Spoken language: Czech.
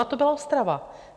A to byla Ostrava.